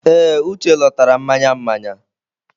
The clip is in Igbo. Ee, Uche lọtara mmanya mmanya.